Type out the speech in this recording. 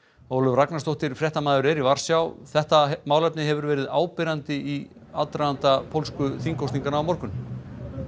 Ólöf Ragnarsdóttir fréttamaður er í Varsjá þetta málefni hefur verið áberandi í aðdraganda pólsku þingkosninganna á morgun